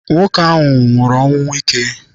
Nwoke ahụ nwụrụ ọnwụ ike.